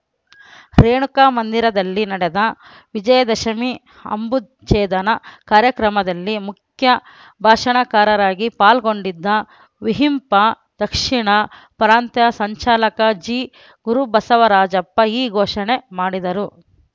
ರೇಣುಕಾ ಮಂದಿರದಲ್ಲಿ ನಡೆದ ವಿಜಯ ದಶಮಿ ಅಂಬುಛೇದನ ಕಾರ್ಯಕ್ರಮದಲ್ಲಿ ಮುಖ್ಯ ಭಾಷಣಕಾರರಾಗಿ ಪಾಲ್ಗೊಂಡಿದ್ದ ವಿಹಿಂಪ ದಕ್ಷಿಣ ಪ್ರಾಂತ್ಯ ಸಂಚಾಲಕ ಜಿಗುರುಬಸವರಾಜ ಈ ಘೋಷಣೆ ಮಾಡಿದರು